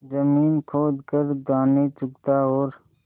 जमीन खोद कर दाने चुगता और